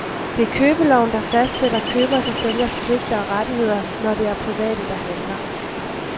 Det er købeloven, der fastsætter købers og sælgers pligter og rettigheder, når der er private, der handler.